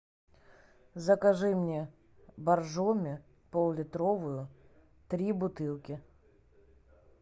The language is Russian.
закажи мне боржоми пол литровую три бутылки